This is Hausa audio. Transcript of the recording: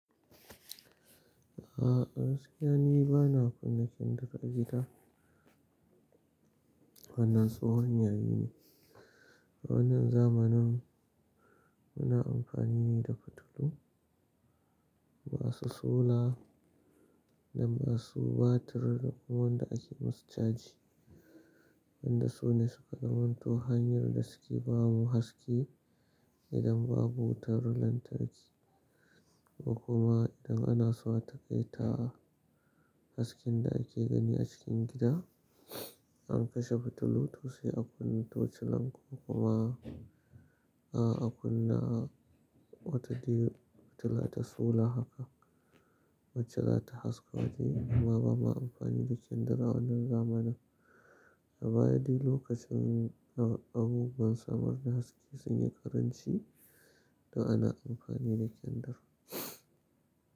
A'a gaskiya ni bana kun na kendir a gida. Wannan tsohon yayi ne. A wannan zamanin muna amfani ne da fitilu masu solar da masu batir da kuma wanda ake musu caji. Wanda sune suka zamanto hanyar da suke bamu haske idan babu wutar lantarki. Kuma idan ana so a taƙaita hasken da ake gani a cikin gida, an kashe fitilu to sai a kunna tocilan ko kuma a kunna wata dai fitila ta solar haka wacce za ta haske waje kuma ba ma amfani da kendir a wannan zamanin. A baya dai lokacin abubuwan samar da haske sun yi ƙaranci da ana amfani da kendir.